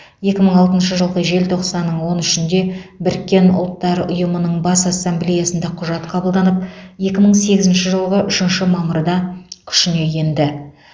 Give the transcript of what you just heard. екі мың алтыншы жылғы желтоқсанның он үшінде біріккен ұлттар ұйымының бас ассамблеясында құжат қабылданып екі мың сегізінші жылғы үшінші мамырда күшіне енді